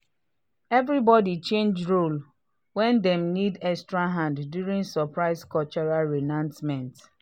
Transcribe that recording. everybody change role when dem need extra hands during surprise cultural reenactment.